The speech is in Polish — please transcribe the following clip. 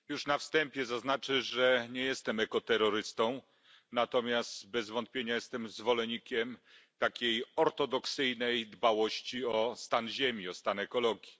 Pani Przewodnicząca! Już na wstępie zaznaczę, że nie jestem ekoterrorystą, natomiast bez wątpienia jestem zwolennikiem takiej ortodoksyjnej dbałości o stan Ziemi, o stan ekologii.